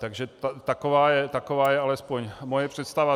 Takže taková je alespoň moje představa.